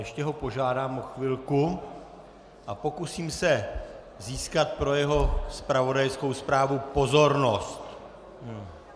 Ještě ho požádám o chvilku a pokusím se získat pro jeho zpravodajskou zprávu pozornost.